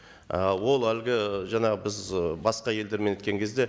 і ол әлгі жаңағы біз ы басқа елдермен неткен кезде